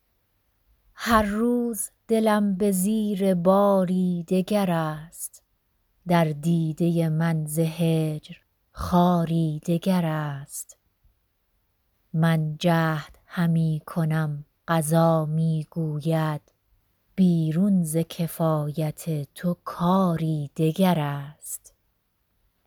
هر روز دلم به زیر باری دگر است در دیده من ز هجر خاری دگر است من جهد همی کنم قضا می گوید بیرون ز کفایت تو کاری دگر است